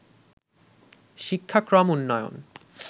শিক্ষাক্রম উন্নয়ন